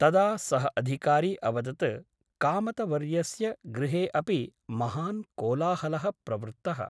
तदा सः अधिकारी अवदत् कामतवर्यस्य गृहे अपि महान् कोलाहलः प्रवृत्तः ।